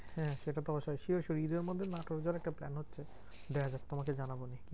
হ্যাঁ সেটা তো অবশ্যই sure sure ঈদের মধ্যে নাটোর যাওয়ার একটা plan হচ্ছে, দেখাযাক তোমাকে জানাবো আমি।